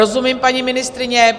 Rozumím, paní ministryně.